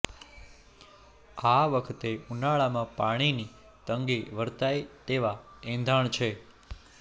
આ વખતે ઉનાળામાં પાણીની તંગી વર્તાય તેવા એંધાણ છે